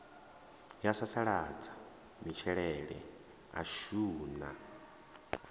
ya sasaladza matshilele ashu na